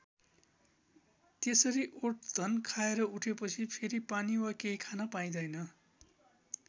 त्यसरी ओटघन खाएर उठेपछि फेरि पानी वा केही खान पाइँदैन।